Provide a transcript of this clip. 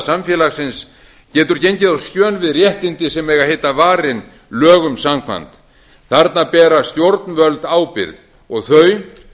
samfélagsins getur gengið á skjön við réttindi sem eiga að heita varin lögum að minnsta kosti dæmi þarna bera stjórnvöld ábyrgð og þau